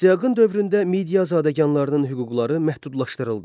Astiaqın dövründə Midiya zadəganlarının hüquqları məhdudlaşdırıldı.